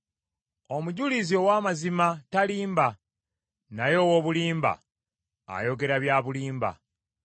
Omujulizi ow’amazima talimba, naye ow’obulimba ayogera bya bulimba.